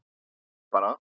Byrjaðu bara.